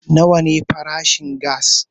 Nawa farashin gass